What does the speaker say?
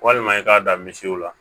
Walima i k'a dan misiw la